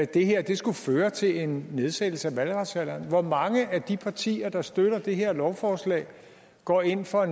det her skulle føre til en nedsættelse af valgretsalderen på hvor mange af de partier der støtter det her lovforslag går ind for